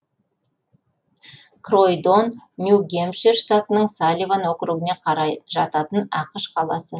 кройдон нью гэмпшир штатының салливан округіне қарай жататын ақш қаласы